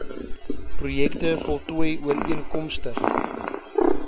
projekte voltooi ooreenkomstig